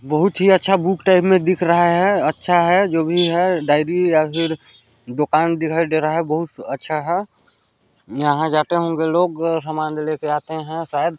बहुत ही अच्छा बुक टाइप में दिख रहा है अच्छा है जो भी है डायरी या फिर दुकान दिखाई दे रहा है बहुत सु अच्छा है यहाँ जाते होंगे लोग समान ले लेके आते है शायद --